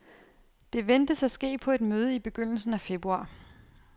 Det ventes at ske på et møde i begyndelsen af februar.